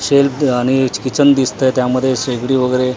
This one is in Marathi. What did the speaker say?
शेल्फ आणि किचन दिसतंय त्यामध्ये शेगडी वगैरे --